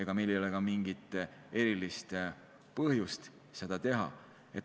Ja meil ei ole ka mingit põhjust seda teha.